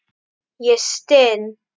Ég styn.